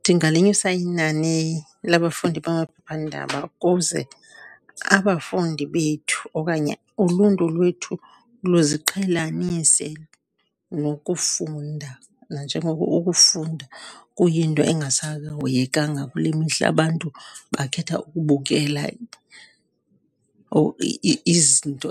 Ndingalinyusa inani labafundi bamaphephandaba ukuze abafundi bethu okanye uluntu lwethu luziqhelanise nokufunda. Nanjengoko ukufunda kuyinto engasahoyekanga kule mihla, abantu bakhetha ukubukela izinto